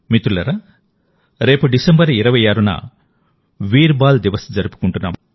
మిత్రులారారేపు December 26న వీర్ బాల్ దివస్ జరుపుకుంటున్నాం